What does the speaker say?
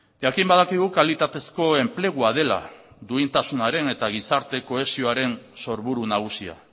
jakin badakigu kalitatezko enplegua dela duintasunaren eta gizarte kohesioaren sorburu nagusia